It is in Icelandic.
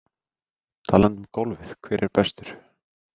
Talandi um golfið hver er bestur?